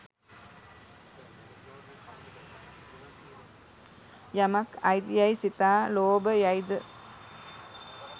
යමක් අයිති යැයි සිතා ලෝභ යයි ද